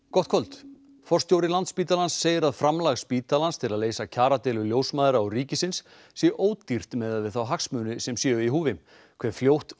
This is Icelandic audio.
gott kvöld forstjóri Landspítalans segir að framlag spítalans til að leysa kjaradeilu ljósmæðra og ríkisins sé ódýrt miðað við þá hagsmuni sem séu í húfi hve fljótt